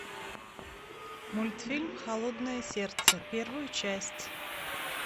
мультфильм холодное сердце первую часть